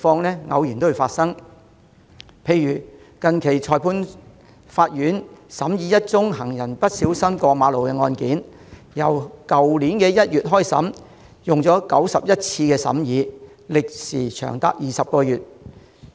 例如，近期裁判法院審議一宗行人不小心過馬路的案件，去年1月開審，經過91次審議，歷時長達20個月。